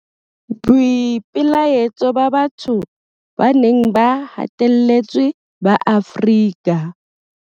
Boipelaetso ba batho ba neng ba hatelletswe ba Afrika.